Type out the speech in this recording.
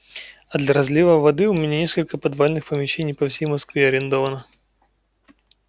а для разлива воды у меня несколько подвальных помещений по всей москве арендовано